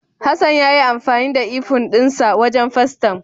Hassan yayi amfani da ifun dinsa wajen fastem.